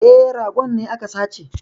E, ragon ne aka sace